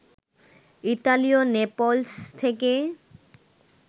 ইতালির নেপলস থেকে